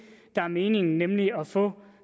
der er meningen nemlig at få